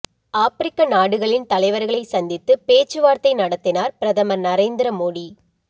ஆப்பிரிக்க நாடுகளின் தலைவர்களை சந்தித்துப் பேச்சுவார்த்தை நடத்தினார் பிரதமர் நரேந்திர மோடி